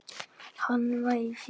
Hann var í fýlu.